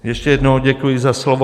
Ještě jednou děkuji za slovo.